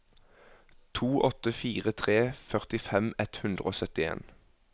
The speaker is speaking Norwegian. to åtte fire tre førtifem ett hundre og syttien